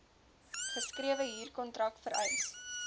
geskrewe huurkontrak vereis